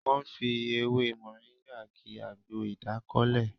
Wọ́n fi ewé Mọ̀ríngà ki àgbo ìdákọ́lẹ̀